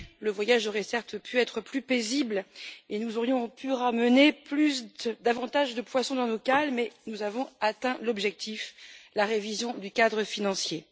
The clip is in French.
Le voyage aurait certes pu être plus paisible et nous aurions pu ramener davantage de poissons dans nos cales, mais nous avons atteint l'objectif la révision du cadre financier.